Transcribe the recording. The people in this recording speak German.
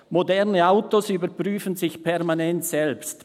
«Moderne Autos überprüfen sich permanent selbst: